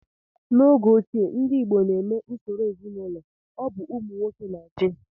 N'oge ochie, ndị igbo na-eme usoro ezinụlọ ọbụ ụmụ nwoke na-achị